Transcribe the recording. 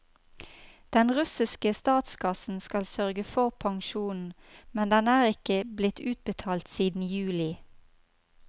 Den russiske statskassen skal sørge for pensjonen, men den er ikke blitt utbetalt siden juli.